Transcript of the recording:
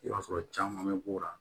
I b'a sɔrɔ caman bɛ k'o la